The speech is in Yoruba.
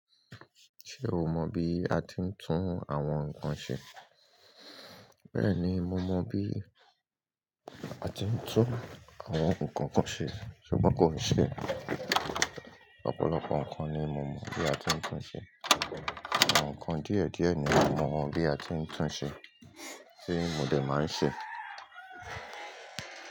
Ṣé o mọ bí a ti ń tún àwọn nǹkan ṣe? Bẹ́ẹ̀ni, mo mọ bí a ti ń tún àwọn nǹkan kan ṣe, ṣùgbọ́n kò ṣe é. Ọ̀pọ̀lọpọ̀ nǹkan ni mo mọ bí a ti ń tún ṣe. Àwọn nǹkan díẹ̀ díẹ̀ ni mo mọ bí a ti ń tún ṣe tí mo dè máa ń ṣe.